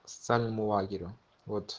социальному лагерю вот